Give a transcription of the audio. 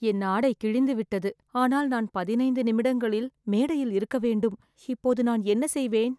என் ஆடை கிழிந்து விட்டது ஆனால் பதினைந்து நிமிடங்களில் நான் மேடையில் இருக்க வேண்டும், இப்போ நான் என்ன செய்வேன்